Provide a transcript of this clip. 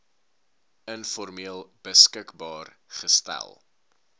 informeel beskikbaar gestel